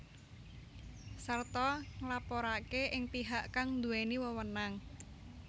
Sarta nglaporake ing pihak kang duweni wewenang